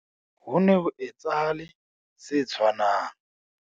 Ho ne ho etsahale se tshwanang